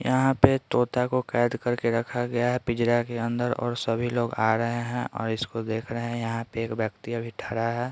यहाँ पे तोता को कैद कर के रखा गया है पिंजड़ा के अंदर और सभी लोग आ रहे हैं और इसको देख रहे हैं यहाँ पे एक व्यक्ति अभी ठरा है।